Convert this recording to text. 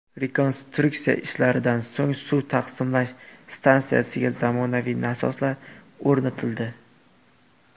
Rekonstruksiya ishlaridan so‘ng suv taqsimlash stansiyasiga zamonaviy nasoslar o‘rnatildi.